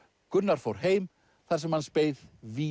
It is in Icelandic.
Gunnar fór heim þar sem hans beið vís